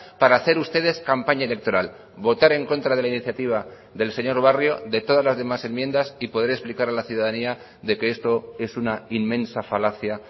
para hacer ustedes campaña electoral votar en contra de la iniciativa del señor barrio de todas las demás enmiendas y poder explicar a la ciudadanía de que esto es una inmensa falacia